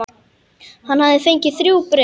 Hann hafði fengið þrjú bréf.